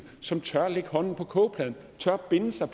som tør lægge hånden på kogepladen tør binde sig